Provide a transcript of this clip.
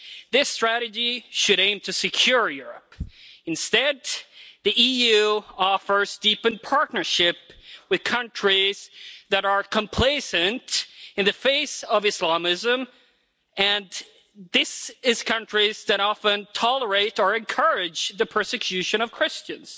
This strategy should aim to secure Europe. Instead, the EU offers deepened partnership with countries that are complacent in the face of Islamism, and these are countries that often tolerate or encourage the persecution of Christians.